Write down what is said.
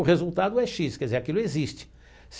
O resultado é xis, quer dizer, aquilo existe.